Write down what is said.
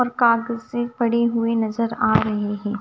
कागजे पड़ी हुई नजर आ रही है।